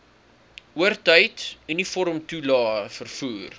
oortyd uniformtoelae vervoer